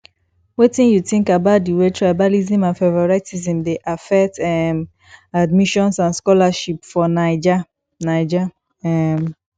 wetin you think about di way tribalism and favoritism dey affect um admissions and scholarships for naija naija um